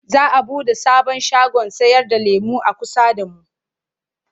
Za a buɗe sabon shagon sayarda lemo a kusa da mu.